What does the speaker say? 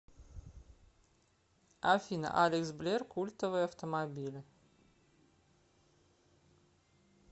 афина алекс блер культовые автомобили